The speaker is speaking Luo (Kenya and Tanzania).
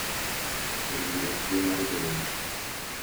E winjruokgi mar jodongo.